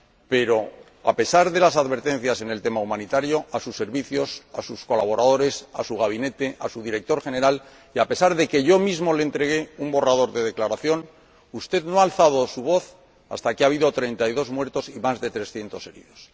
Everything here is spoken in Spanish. Pero, a pesar de las advertencias hechas, en relación con el aspecto humanitario, a sus servicios, a sus colaboradores, a su gabinete, a su director general, y a pesar de que yo mismo le entregué un borrador de declaración, usted no ha alzado su voz hasta que ha habido treinta y dos muertos y más de trescientos heridos.